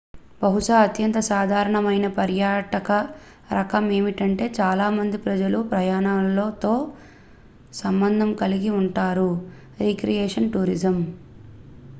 బహుశా అత్యంత సాధారణ మైన పర్యాటక రకం ఏమిటంటే చాలామంది ప్రజలు ప్రయాణాలతో సంబంధం కలిగి ఉంటారు రిక్రియేషన్ టూరిజం